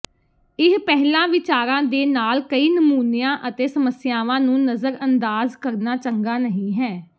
ਇਹ ਪਹਿਲਾਂ ਵਿਚਾਰਾਂ ਦੇ ਨਾਲ ਕਈ ਨਮੂਨਿਆਂ ਅਤੇ ਸਮੱਸਿਆਵਾਂ ਨੂੰ ਨਜ਼ਰਅੰਦਾਜ਼ ਕਰਨਾ ਚੰਗਾ ਨਹੀਂ ਹੈ